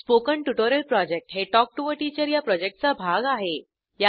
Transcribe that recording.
spoken tutorial project हे talk to teacher या प्रॉजेक्टचा भाग आहे